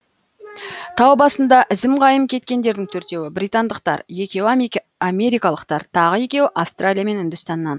тау басында ізім қайым кеткендердің төртеуі британдықтар екеуі америкалықтар тағы екеуі австралия мен үндістаннан